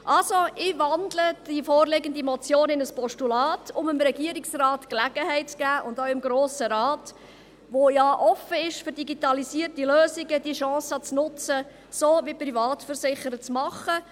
Also: Ich wandle die vorliegende Motion in ein Postulat, um dem Regierungsrat und auch dem Grossen Rat, der ja für digitalisierte Lösungen offen ist, die Gelegenheit zu geben und die Chance zu nutzen, es so wie die Privatversicherer zu machen.